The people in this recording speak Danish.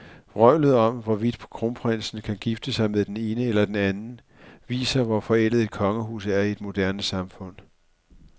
Vrøvlet om, hvorvidt kronprinsen kan gifte sig med den ene eller den anden, viser, hvor forældet et kongehus er i et moderne samfund.